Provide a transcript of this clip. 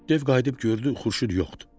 Dev qayıdıb gördü Xurşud yoxdur.